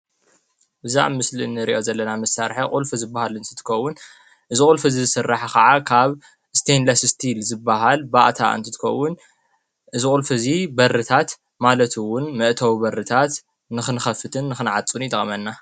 እዚ ኣብ ምስል ንሬእዮ ዘለና ምሣርሐ ቑልፊ ዝበሃል እንትትኮውን ዝቑልፊ እዝ ዝሠራሐ ኸዓ ካብ ስተይንለስ ስቲል ዝበሃል ባእታ እንትትኮውን እዝቑልፊ እዙይ በርታት ማለቱውን መእተዊ በርታት ንኽንኸፍትን ኽነዓጹን ይጠቕመና።